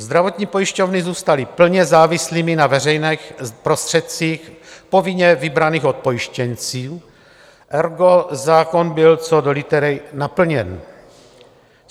Zdravotní pojišťovny zůstaly plně závislými na veřejných prostředcích povinně vybraných od pojištěnců, ergo zákon byl co do litery naplněn.